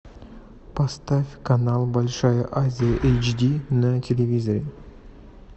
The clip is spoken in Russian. поставь канал большая азия айч ди на телевизоре